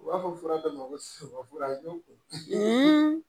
U b'a fɔ fura dɔ ma ko sunbɛ fura